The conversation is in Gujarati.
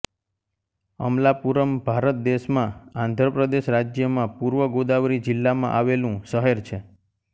અમલાપુરમ ભારત દેશમાં આંધ્ર પ્રદેશ રાજ્યમાં પૂર્વ ગોદાવરી જિલ્લામાં આવેલુ શહેર છે